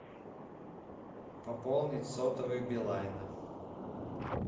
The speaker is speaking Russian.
пополнить сотовый билайна